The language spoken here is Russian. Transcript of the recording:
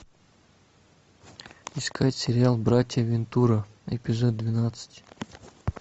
искать сериал братья вентура эпизод двенадцать